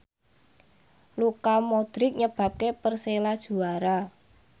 Luka Modric nyebabke Persela juara